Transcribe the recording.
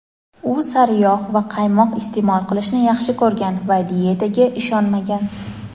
u sariyog‘ va qaymoq iste’mol qilishni yaxshi ko‘rgan va diyetaga ishonmagan.